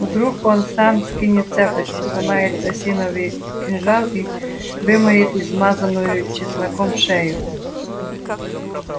вдруг он сам скинет цепочку сломает осиновый кинжал и вымоет измазанную чесноком шею